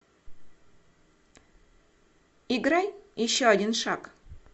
играй еще один шаг